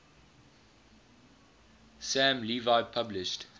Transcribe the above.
sam levy published